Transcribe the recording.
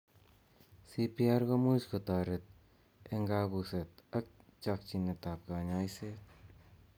CPR komuch kotoret eng kabuset ak chokyinet ab kanyoiset.